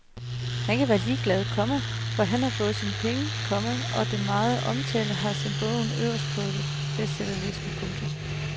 Han kan være ligeglad, komma for han har fået sine penge, komma og den megen omtale har sendt bogen øverst på bestsellerlisterne. punktum